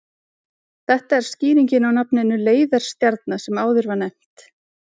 Þetta er skýringin á nafninu leiðarstjarna sem áður var nefnt.